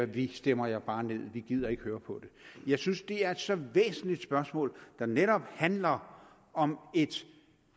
vi stemmer jer bare ned vi gider ikke høre på det jeg synes det er et så væsentligt spørgsmål der netop handler om et